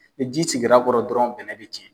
Ni ji tigɛra kɔrɔ dɔrɔn bɛnɛ bɛ cɛn.